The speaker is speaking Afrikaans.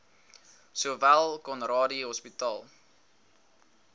sowel conradie hospitaal